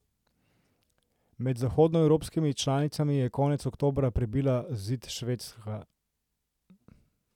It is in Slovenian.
Med zahodnoevropskimi članicami je konec oktobra prebila zid Švedska.